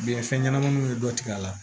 Biyɛn fɛn ɲɛnamaninw bɛ dɔ tigɛ a la